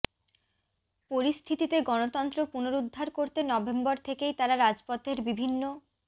পরিস্থিতিতে গণতন্ত্র পুনরুদ্ধার করতে নভেম্বর থেকেই তারা রাজপথের বিভিন্ন